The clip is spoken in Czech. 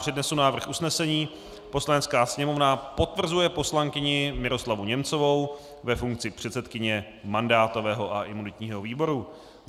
Přednesu návrh usnesení: "Poslanecká sněmovna potvrzuje poslankyni Miroslavu Němcovou ve funkci předsedkyně mandátového a imunitního výboru."